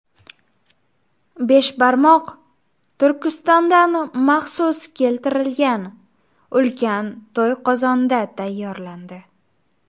Beshbarmoq Turkistondan maxsus keltirilgan, ulkan To‘yqozonda tayyorlandi.